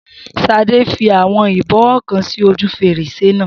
Shade fi àwọn ìbọwọ́ kan sí ojú fèrèsé náà